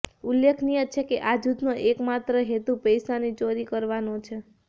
ઉલ્લેખનીય છે કે આ જૂથનો એક માત્ર હેતુ પૈસાની ચોરી કરવાનો છે